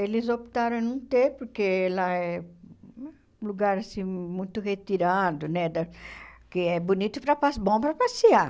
Eles optaram em não ter, porque lá é um lugar assim muito retirado, né da que é bonito para pas, bom para passear.